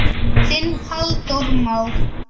Þinn Halldór Már.